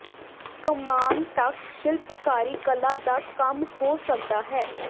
ਕਮਾਨ ਤੱਕ ਸ਼ਿਲਪਕਾਰੀ ਕਲਾ ਦਾ ਕੰਮ ਹੋ ਸਕਦਾ ਹੈ